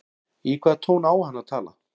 Í hvaða tón á hann að tala?